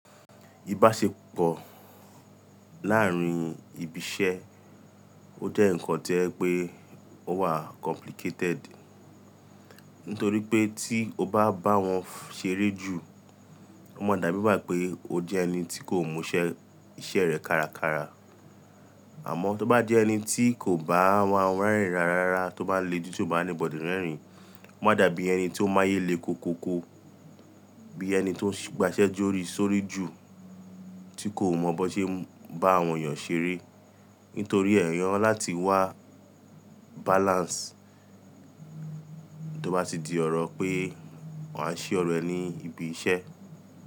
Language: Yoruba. Ìbáṣepọ̀ láàrín ibi iṣẹ́, ó jẹ́ ǹnkan tí o jẹ pé ó wà complicated. Nítorí pé tí o bá bá wọn ṣeré jù, ọ́ máa dàbí ìgbá pé o jẹ́ ẹni tí kò múṣẹ́ iṣẹ́ rẹ kárakára. Àmọ́ tó bá jẹ́ ẹni tí kò bá wọ́n rẹ́rìn rararara tó bá le jù tió bá anybody rẹ́rìn, ọ́ máa dàbí ẹni tó máyélé koko ko. Bí ẹni tó ń gbasẹ jórí sórí jù, tí kò mọ bó ṣe bá àwọn èèyàn ṣeré, nítorí ẹ̀ eyán láti wá balance tó bá ti di ọ̀rọ̀ pé wọ́n á ṣé ọ̀rọ̀ ẹ ní ibi iṣẹ́.